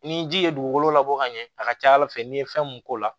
Ni ji ye dugukolo labɔ ka ɲɛ a ka ca ala fɛ n'i ye fɛn mun k'o la